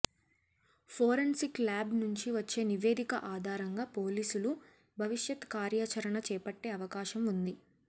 forensic lab నుంచి వచ్చే నివేదిక ఆధారంగా పోలీసులు భవిష్యత్ కార్యాచరణ చేపట్టే అవకాశం ఉంది